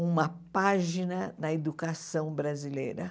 Uma página na educação brasileira.